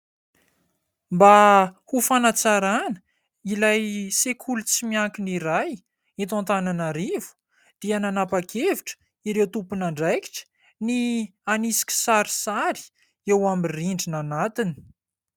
Mba ho fanatsarana ilay sekoly tsy miankina iray eto Antananarivo dia nanapakevitra ireo tompon'andraikitra ny hanisy kisarisary eo amin'ny rindrina anatiny.